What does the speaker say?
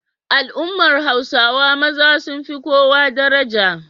Al'ummar Hausawa maza sun fi kowa daraja.